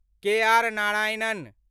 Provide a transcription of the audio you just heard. K R Narayanan